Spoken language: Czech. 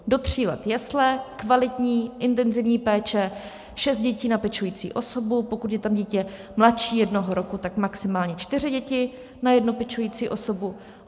Do tří let jesle, kvalitní, intenzivní péče, šest dětí na pečující osobu, pokud je tam dítě mladší jednoho roku, tak maximálně čtyři děti na jednu pečující osobu.